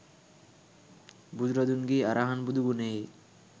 බුදුරදුන්ගේ අරහං බුදු ගුණයේ